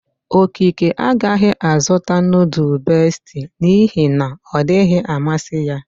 Okeke agaghi azuta nudul Besti n'ihe na ọ dighi amasi ya.